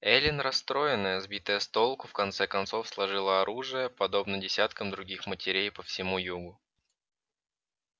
эллин расстроенная сбитая с толку в конце концов сложила оружие подобно десяткам других матерей по всему югу